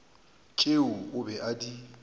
tšeo o be a di